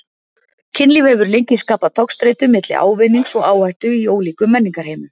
Kynlíf hefur lengi skapað togstreitu milli ávinnings og áhættu í ólíkum menningarheimum.